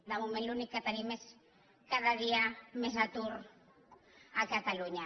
de moment l’únic que tenim és cada dia més atur a catalunya